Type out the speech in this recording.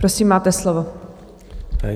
Prosím, máte slovo.